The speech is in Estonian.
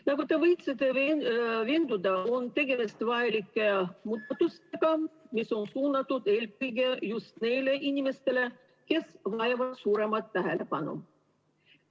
Nagu te võisite veenduda, on tegemist vajalike muudatustega, mis on suunatud eelkõige just neile inimestele, kes vajavad suuremat tähelepanu.